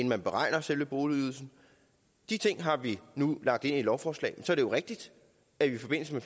man beregner selve boligydelsen de ting har vi nu lagt ind i et lovforslag så er det jo rigtigt at vi i forbindelse med